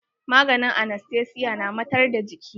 Maganin anastesiya na matar da jiki.